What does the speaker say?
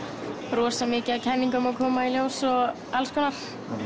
rosamikið af kenningum að koma í ljós og alls konar